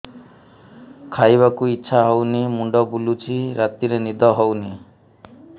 ଖାଇବାକୁ ଇଛା ହଉନି ମୁଣ୍ଡ ବୁଲୁଚି ରାତିରେ ନିଦ ହଉନି